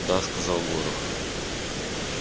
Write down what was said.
да сказал горов